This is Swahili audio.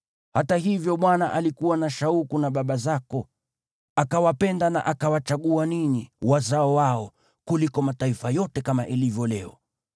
Hata hivyo Bwana alikuwa na shauku na baba zako, akawapenda na akawachagua ninyi, wazao wao, kuliko mataifa yote, kama ilivyo leo.